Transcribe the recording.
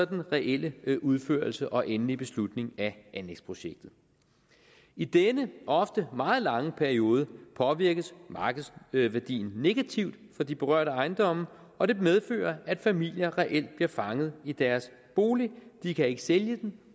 reelle udførelse og endelige beslutning af anlægsprojektet i denne ofte meget lange periode påvirkes markedsværdien negativt for de berørte ejendomme og det medfører at familier reelt bliver fanget i deres bolig de kan ikke sælge den